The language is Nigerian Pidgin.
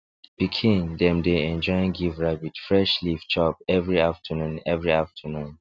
pikin dem dey enjoy give rabbit fresh leaf chop every afternoon every afternoon